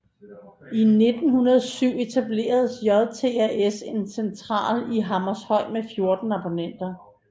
I 1907 etablerede JTAS en central i Hammershøj med 14 abonnenter